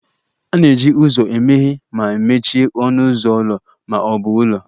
A na-eji ụzọ emeghe ma mechie ọnụ ụzọ ụlọ ma ọ bụ ụlọ